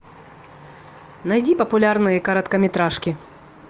найди популярные короткометражки